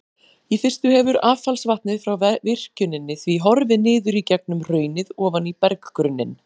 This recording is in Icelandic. Í fyrstu hefur affallsvatnið frá virkjuninni því horfið niður í gegnum hraunið ofan í berggrunninn.